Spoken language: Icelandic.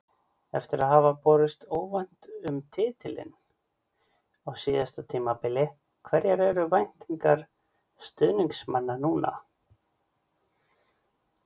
Eftir að hafa barist óvænt um titilinn á síðasta tímabili, hverjar eru væntingar stuðningsmanna núna?